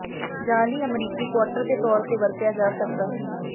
ਜਾਅਲੀ ਅਮਰੀਕੀ ਕੁਆਰਟਰ ਦੇ ਤੌਰ ਤੇ ਵਰਤਿਆ ਜਾ ਸਕਦਾ ਹੈ